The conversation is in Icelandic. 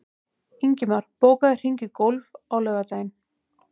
Ingimar, bókaðu hring í golf á laugardaginn.